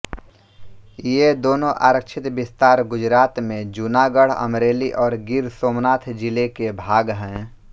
ये दोनों आरक्षित विस्तार गुजरात में जूनागढ़ अमरेली और गिर सोमनाथ जिले के भाग है